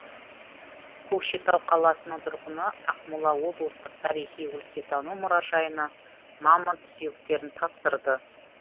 көкшетау қаласының тұрғыны ақмола облыстық тарихи өлкетану мұражайына мамонт сүйектерін тапсырды